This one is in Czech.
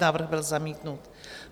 Návrh byl zamítnut.